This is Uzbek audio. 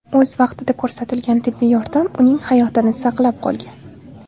O‘z vaqtida ko‘rsatilgan tibbiy yordam uning hayotini saqlab qolgan.